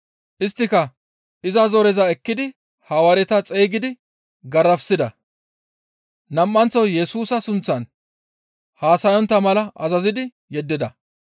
Isttika iza zoreza ekkidi Hawaareta xeygidi garafissida; nam7anththo Yesusa sunththan haasayontta mala azazidi yeddida.